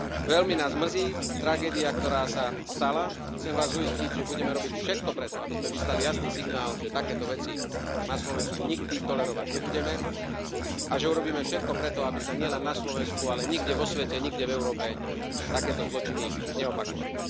Veľmi nás mrzí tragédia, ktorá sa stala, chcem vás uistiť, že budeme robiť všetko preto, aby sme vyslali jasný signál, že takéto veci na Slovensku nikdy tolerovať nebudeme a že urobíme všetko preto, aby sa nielen na Slovensko, ale nikde vo svete, nikde v Európe takéto zločiny neopakovali.